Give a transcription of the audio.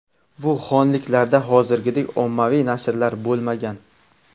Bu xonliklarda hozirgiday ommaviy nashrlar bo‘lmagan.